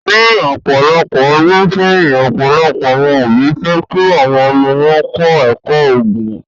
Ni ọpọlọpọ ọdun sẹyin, ọpọlọpọ awọn obi fẹ ki awọn ọmọ wọn kọ ẹkọ Oogun